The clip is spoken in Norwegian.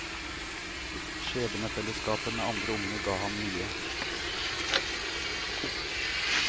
Skjebnefellesskapet med andre unge ga ham mye.